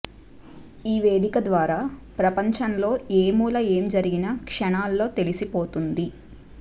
ఈ వేదిక ద్వారా ప్రపంచంలో ఏమూల ఏం జరిగినా క్షణాల్లో తెలిసిపోతోంది